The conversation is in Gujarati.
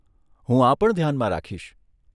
હું આ પણ ધ્યાનમાં રાખીશ.